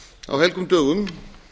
á helgum dögum